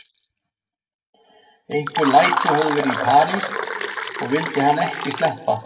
Einhver læti höfðu verið í París og vildi hann ekki sleppa